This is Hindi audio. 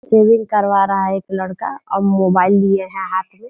शेविंग करवा रहा एक लड़का और मोबाइल लिए है हाथ में।